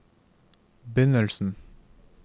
begynnelsen